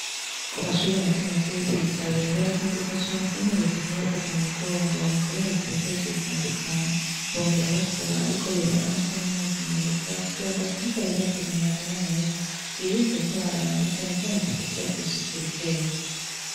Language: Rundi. Ku mashure mato mato yo kwi Jabe barakenguruka cane ukuntu reta iguma ibafata mumugongo mukubahereza ibikoresho bitandukanye bongera basaba yuko yobaronsa n' amazi meza kugire ngo bashishikare bagira amagara meza birinde ingwara na cane cane zifatira kwi suku rikeya.